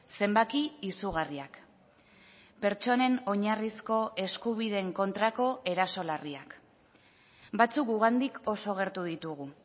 zenbaki izugarriak pertsonen oinarrizko eskubideen kontrako eraso larriak batzuk gugandik oso gertu ditugu